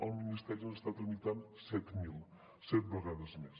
el ministeri n’està tramitant set mil set vegades més